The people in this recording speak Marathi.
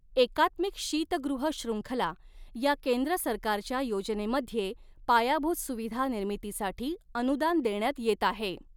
एकात्मिक शीतगृह शृंखला या केंद्र सरकारच्या योजनेमध्ये पायाभूत सुविधा निर्मितीसाठी अनुदान देण्यात येत आहे.